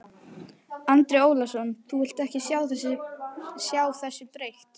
Andri Ólafsson: Þú vilt ekki sjá þessu breytt?